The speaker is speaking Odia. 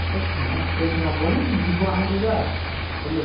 ଏତେ ସେ ନବନି ସେ ଯିବ ଆମ ସହିତ ଆଉ, ଖାଲି ଆଉ।